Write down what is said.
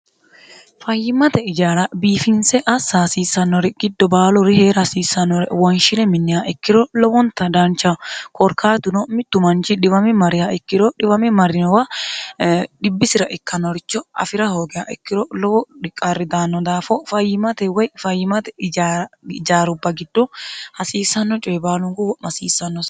fayyimate ijaala biifinse assa hasiissannori giddo baalu rihee'r hasiissannore woynshile minniha ikkiro lowonta daancha koorkaatuno mittu manchi dhiwami mariha ikkiro dhiwami marinowa dhibbisira ikkanoricho afi'ra hoogeha ikkiro lowo dhiqarridaanno daafo fayyimate woy fayyimate ijaarubba giddu hasiissanno coye baalunguwo'mo hasiissannoa